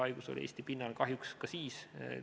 Haigus oleks olnud Eesti pinnal kahjuks ka ilma selleta.